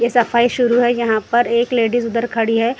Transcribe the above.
ये सफाई शुरू है यहाँ पर एक लेडीज उधर खड़ी है।